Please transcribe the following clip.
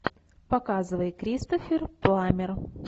показывай кристофер пламмер